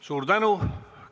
Suur tänu!